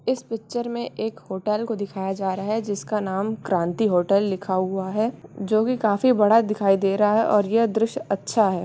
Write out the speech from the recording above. इस पिक्चर मे एक होटल को दिखया जा रहा हैं । जिसका नाम क्रांति होटल लिखा हुआ हैं जोकी काफी बड़ा दिखाई दे रहा है और ये दृश्य अच्छा है।